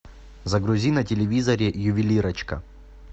загрузи на телевизоре ювелирочка